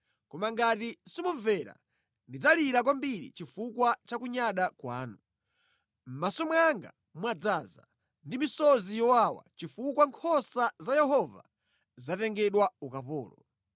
Koma ngati simumvera, ndidzalira kwambiri chifukwa cha kunyada kwanu. Mʼmaso mwanga mwadzaza ndi misozi yowawa chifukwa nkhosa za Yehova zatengedwa ukapolo.